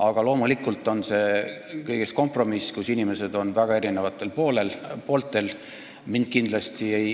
Aga loomulikult on see kõigest kompromiss, inimesed on väga erinevatel arvamustel.